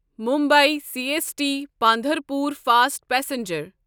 Mumbai C S T Pandharpur fast passenger